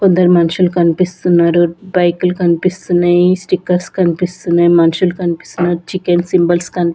ఇద్దరు మన్షులు కన్పిస్తున్నారు బైకులు కన్పిస్తున్నాయి స్టిక్కర్స్ కన్పిస్తున్నాయి మనుషులు కన్పిస్తున్నారు చికెన్ సింబల్స్ కన్--